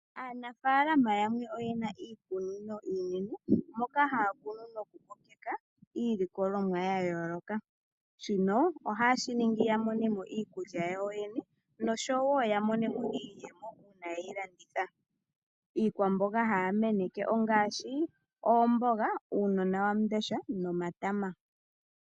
Aanafalama yamwe oyena iikunino iinene moka haya kunu noku kokeka iilikolomwa ya yooloka shino ohayeshi ningi ya monemo iikulya yawo yoyene noshowo ya monemo iiyemo uuna yeyi landitha iikwamboga haya meneke ongashi oomboga uunonawamundesha nomatama.